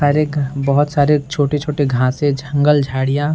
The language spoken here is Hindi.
एक बहोत सारे छोटे-छोटे घांसे झंगल झाड़ियाँ --